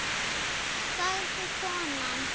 sagði konan.